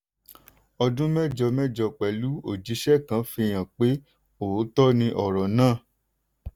ọdún mẹ́jọ mẹ́jọ pẹ̀lú òjíṣẹ́ kan fi hàn pé òótọ́ ni ọ̀rọ̀ náà.